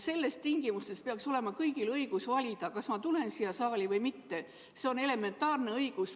Sellistes tingimustes peaks olema kõigil õigus valida, kas ma tulen siia saali või mitte – see on elementaarne õigus.